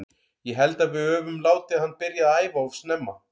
Ég held að við öfum látið hann byrja að æfa of snemma að æfa.